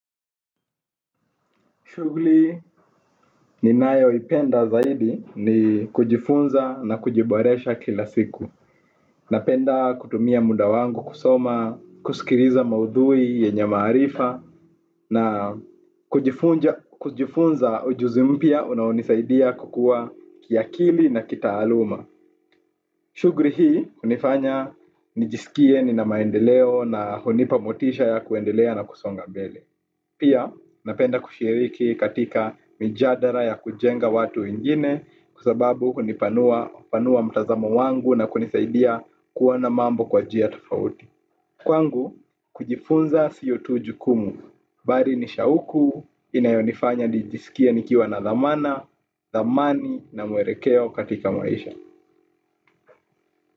Shughuli ninayo ipenda zaidi ni kujifunza na kujiboresha kila siku. Napenda kutumia muda wangu kusoma, kusikiliza maudhui, yenye maarifa, na kujifunza ujuzi mpya unaonisaidia kukua kiakili na kitaaluma. Shughuli hii hunifanya nijisikie nina maendeleo na hunipa motisha ya kuendelea na kusonga mbele. Pia napenda kushiriki katika mjadala ya kujenga watu wengine kwa sababu hunipanua mtazamo wangu na kunisaidia kuwa na mambo kwa njia tofauti. Kwangu, kujifunza sio tu jukumu. Bali ni shauku, inayonifanya nijisikie nikiwa na dhamana, thamani na mwelekeo katika maisha.